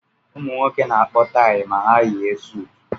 Ụmụ nwoke na-akpọ tayi ma ha yie sutu